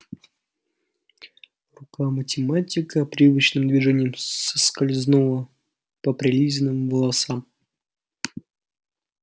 рука математика привычным движением скользнула по прилизанным волосам